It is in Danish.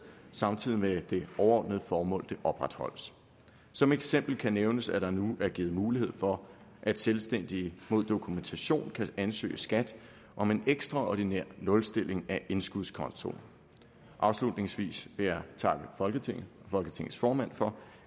samtidig med at det overordnede formål opretholdes som eksempel kan nævnes at der nu er givet mulighed for at selvstændige mod dokumentation kan ansøge skat om en ekstraordinær nulstilling af indskudskontoen afslutningsvis vil jeg takke folketinget og folketingets formand for